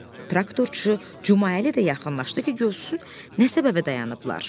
Traktorçu Cüməəli də yaxınlaşdı ki, görsün nə səbəbə dayanıblar.